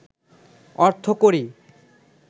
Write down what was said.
অর্থকড়ি